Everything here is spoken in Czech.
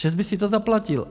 ČEZ by si to zaplatil!